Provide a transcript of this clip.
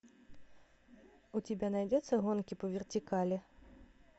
у тебя найдется гонки по вертикали